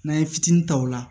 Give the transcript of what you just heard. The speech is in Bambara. N'an ye fitini ta o la